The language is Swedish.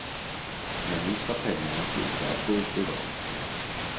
Men nu ska pengarna sluta att gå upp i rök.